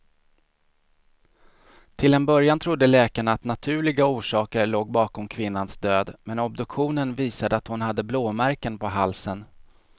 Till en början trodde läkarna att naturliga orsaker låg bakom kvinnans död, men obduktionen visade att hon hade blåmärken på halsen.